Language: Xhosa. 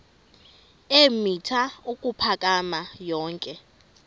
eemitha ukuphakama yonke